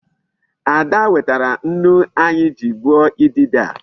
Ada wetara nnu anyị ji gbuo idide a.